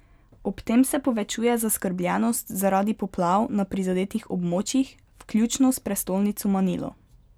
Ob tem se povečuje zaskrbljenost zaradi poplav na prizadetih območjih, vključno s prestolnico Manilo.